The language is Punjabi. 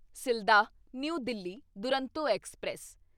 Sealdah new Delhi Duronto express